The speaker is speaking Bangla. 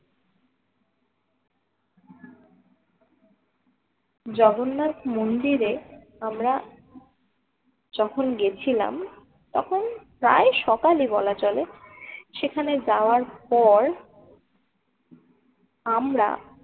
জগন্নাথ মন্দিরে আমরা যখন গেছিলাম তখন প্রায় সকালে বলা চলে সেখানে যাওয়ার পর আমরা